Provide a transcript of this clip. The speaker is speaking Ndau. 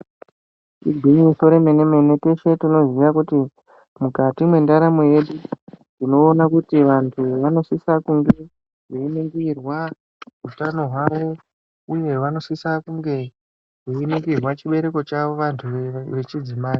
Igwinyiso remenemene teshe tinoziya kuti mukati mwendaramo yedu tinoona kuti vanu vanosise kunge veiningirwa utano hwavo uye vanosisa kunge veiningirwa chibereko chavo vantu vechidzimayi.